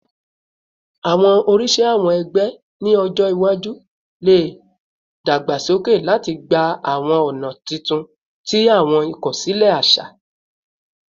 Awọn oriṣi awọn ẹgbẹ ni ọjọ iwaju le dagbasoke lati gba awọn ọna tuntun ti awọn ikosile aṣa